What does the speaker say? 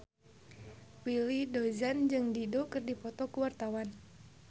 Willy Dozan jeung Dido keur dipoto ku wartawan